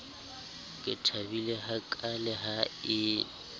ke thabile hakaale ha e